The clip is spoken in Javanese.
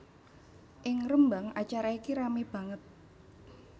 Ing Rembang acara iki ramé banget